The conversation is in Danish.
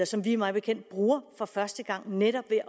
som vi mig bekendt bruger for første gang netop ved